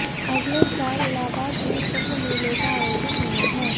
अगले साल इलाहाबाद में कुंभ मेले का आयोजन होना है